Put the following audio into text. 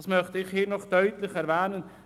Das möchte ich hier deutlich hervorstreichen.